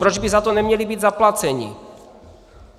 Proč by za to neměli být zaplaceni?